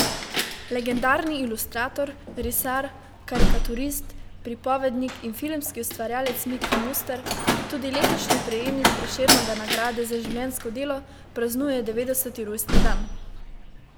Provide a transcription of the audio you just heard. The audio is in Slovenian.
Legendarni ilustrator, risar, karikaturist, pripovednik in filmski ustvarjalec Miki Muster, tudi letošnji prejemnik Prešernove nagrade za življenjsko delo, praznuje devetdeseti rojstni dan.